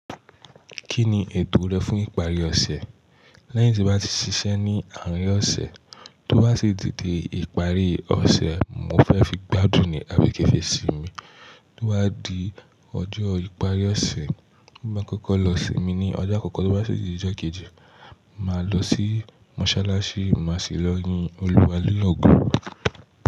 Kí ni ètò rẹ fún ìparí ọ̀sẹ̀? Lẹ́yìn tí n bá ti ṣiṣẹ́ ní àárín ọ̀sẹ̀, tó bá sì ti di ìparí ọ̀sẹ̀, mo fẹ́ fi gbádùn ní abi ki n fi sí mi. Tó bá di ọjọ́ ìparí ọ̀sẹ̀, n bá kọ́kọ́ lọ sí mi ní ọjọ́ àkọ́kọ́ tó bá sì di ọjọ́ kejì, màá lọ sí mọ́ṣáláṣí màá sì lọ yin Olúwa ni ogo.